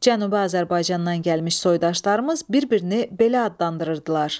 Cənubi Azərbaycandan gəlmiş soydaşlarımız bir-birini belə adlandırırdılar.